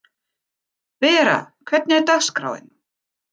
Vera, hvernig er dagskráin?